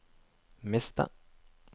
miste